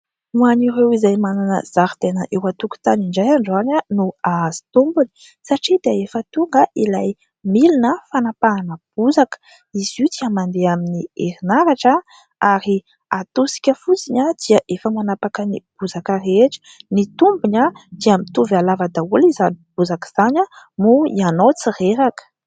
Ho an'ireo izay manana zaridaina eo an-tokotany indray androany no hahazo tombony satria dia efa tonga ilay milina fanampahana bozaka. Izy io dia mandeha amin'ny herinaratra ary hatosika fotsiny dia efa manapaka ny bozaka rehetra. Ny tombony dia mitovy halava daholo izany bozaka izany, moa ianao tsy reraka.